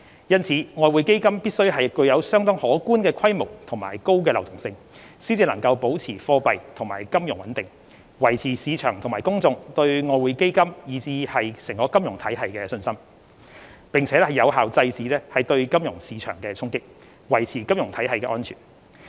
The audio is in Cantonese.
因此，外匯基金必須具有相當可觀的規模及高流動性，才能保持貨幣和金融穩定，維持市場和公眾對外匯基金以至金融體系的信心，並有效制止對金融市場的衝擊，維持金融體系的安全。